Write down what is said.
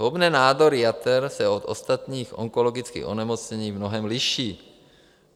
Zhoubné nádory jater se od ostatních onkologických onemocnění v mnohém liší.